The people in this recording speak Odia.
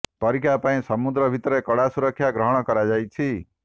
ପରୀକ୍ଷା ପାଇଁ ସମୁଦ୍ର ଭିତରେ କଡ଼ା ସୁରକ୍ଷା ଗ୍ରହଣ କରାଯାଇଛି